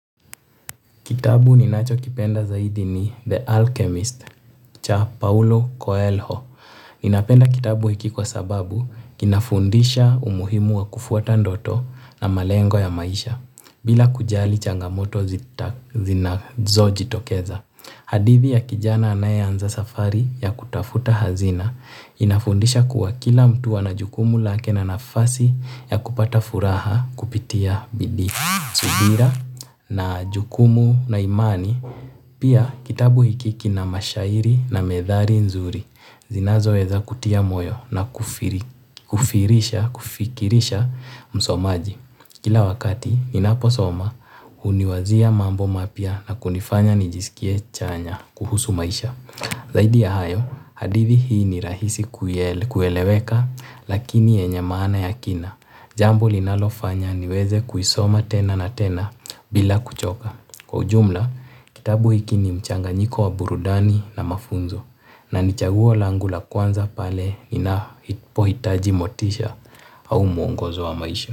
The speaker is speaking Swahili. Kitabu ninachokipenda zaidi ni The Alchemist cha Paulo Coelho. Ninapenda kitabu hiki kwa sababu kinafundisha umuhimu wa kufuata ndoto na malengo ya maisha bila kujali changamoto zinazojitokeza. Hadithi ya kijana anayeanza safari ya kutafuta hazina inafundisha kuwa kila mtu ana jukumu lake na nafasi ya kupata furaha kupitia bidi. Subira na jukumu na imani pia kitabu hiki kina mashairi na methali nzuri zinazoweza kutia moyo na kufikirisha msomaji, kila wakati ninaposoma huniwazia mambo mapya na kunifanya nijisikie chanya kuhusu maisha. Zaidi ya hayo, hadithi hii ni rahisi kueleweka lakini yenye maana ya kina, jambo linalofanya niweze kuisoma tena na tena bila kuchoka. Kwa ujumla, kitabu hiki ni mchanganyiko wa burudani na mafunzo. Na ni chaguo langu la kwanza pale ninapohitaji motisha au mwongozo wa maisha.